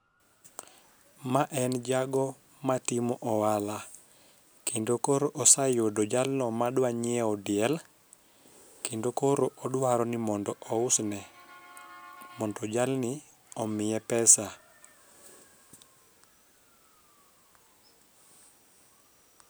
Ma en jago matimo ohala kendo koro oseyudo jalno madwa nyiewo diel kendo koro odwaro ni mondo ousne mondo jalni omiye pesa